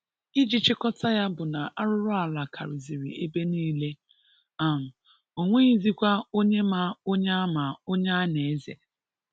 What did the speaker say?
Iji chịkọta ya bụ na arụrụala karịzịrị ebe niile, um o nweghizikwa onye ma onye a ma onye a na-eze.